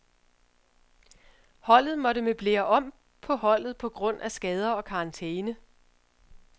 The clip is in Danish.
Holdet måtte møblere om på holdet på grund af skader og karantæne.